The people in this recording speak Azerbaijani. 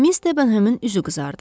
Miss Debenhemin üzü qızardı.